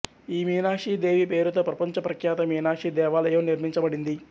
ఈ మీనాక్షి దేవి పేరుతో ప్రపంచ ప్రఖ్యాత మీనాక్షి దేవాలయం నిర్మించబడింది